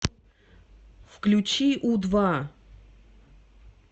включи у два